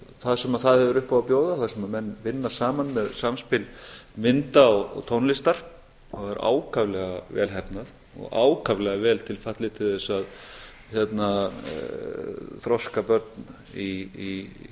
það sem það hefur upp á að bjóða þar sem menn vinna saman með samspil mynda og tónlistar og er ákaflega vel heppnað og ákaflega vel til fallið til þess að þroska börn í